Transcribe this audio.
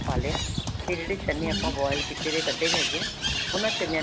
ਪਾ ਲਿਆ ਤੇ ਜਿਹੜੇ ਚਨੇ ਆਪਾਂ boil ਕੀਤੇ ਨੇ ਕੱਢੇ ਹੈਗੇ ਹਾ ਉਹਨਾ ਚਨਿਆਂ ਨੂੰ